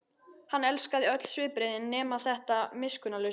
Hann elskaði öll svipbrigðin nema þetta miskunnarlausa.